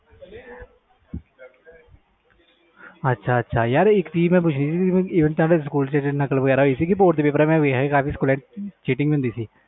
ਅੱਛਾ ਅੱਛਾ ਇਕ ਚੀਜ਼ ਪੁੱਛਣੀ ਸੀ even ਤੁਹਾਡੇ ਸਕੂਲ ਵਿਚ ਨਕਲ ਵਜੀ ਸੀ ਬੋਰਡ ਤੇ ਪੇਪਰ ਵਿਚ cheating